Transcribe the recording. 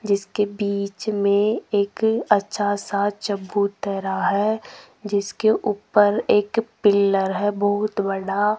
जिसके बीच में एक अच्छा सा चबूतरा है जिसके ऊपर एक पिलर है बहुत बड़ा।